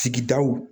Sigidaw